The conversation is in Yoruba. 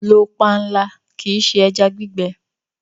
Lọ pànla, kí ì ṣé ẹ̀já gbìgbẹ!